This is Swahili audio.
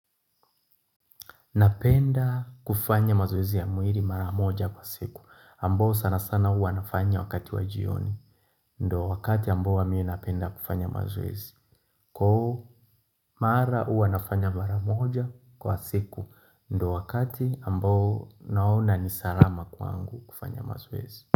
Napenda kufanya mazoezi ya muiri mara moja kwa siku ambo sana sana hua nafanya wakati wa jioni ndo wakati ambo huwa mii napenda kufanya mazoezi Ko mara ua nafanya mara moja kwa siku ndo wakati ambo naona nisarama kwaangu kufanya mazoezi.